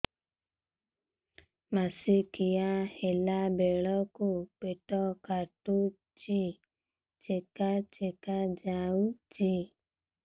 ମାସିକିଆ ହେଲା ବେଳକୁ ପେଟ କାଟୁଚି ଚେକା ଚେକା ଯାଉଚି